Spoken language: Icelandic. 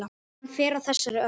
Hann fer á þessari öld.